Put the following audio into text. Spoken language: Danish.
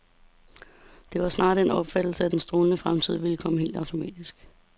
Det var snarere den opfattelse, at den strålende fremtid ville komme helt automatisk.